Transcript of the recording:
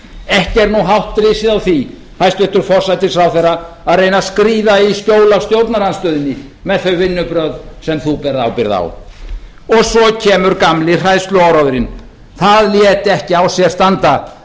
ekki er nú hátt risið á því hæstvirtur forsætisráðherra að reyna að skríða í skjól af stjórnarandstöðunni með þau vinnubrögð sem þú berð ábyrgð á svo kemur gamli hræðsluáróðurinn það lét ekki á sér standa